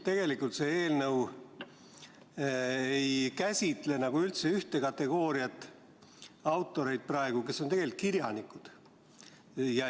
Tegelikult see eelnõu ei käsitle praegu justkui üldse ühte kategooriat autoreid, need on kirjanikud.